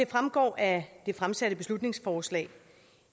fremgår af det fremsatte beslutningsforslag